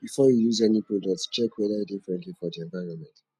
before you use any product check whether e de friendly for di environment